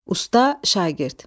Usta şagird.